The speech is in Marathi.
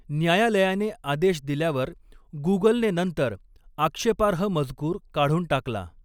न्यायालयाने आदेश दिल्यावर गुगलने नंतर आक्षेपार्ह मजकूर काढून टाकला.